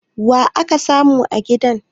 wa aka samu a gidan?